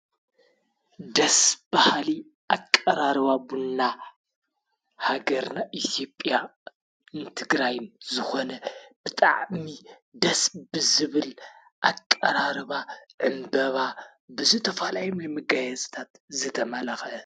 ደስብሃሊ ኣቀራርባ ቡን ሃገርና ኢትዮጵያነ ትግራይም ዝኾነ ብጣዕሚ ደስ ብዝብል ኣቀራርባ እምበባ ብዙ ተፈላለየ መጋየፂታት ዝተመለኸ።